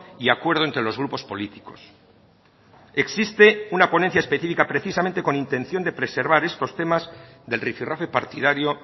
y acuerdo entre los grupos políticos existe una ponencia específica precisamente con intención de preservar estos temas del rifirrafe partidario